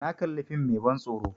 Na kali fim mai ban tsoro